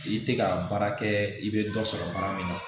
I tɛ ka baara kɛ i bɛ dɔ sɔrɔ baara min na